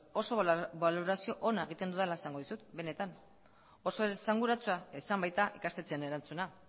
oso balorazio ona egiten dudala esango dizut benetan oso esanguratsua izan baita ikastetxeen erantzuna